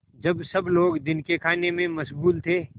जब सब लोग दिन के खाने में मशगूल थे